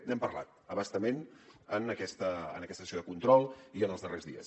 n’hem parlat a bastament en aquesta sessió de control i en els darrers dies